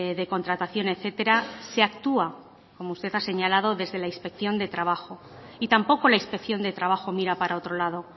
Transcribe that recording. de contratación etcétera se actúa como usted ha señalado desde la inspección de trabajo y tampoco la inspección de trabajo mira para otro lado